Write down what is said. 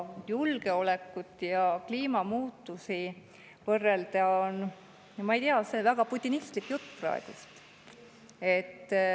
Julgeolekut ja kliimamuutusi võrrelda on – no ma ei tea, see on väga putinistlik jutt praegu.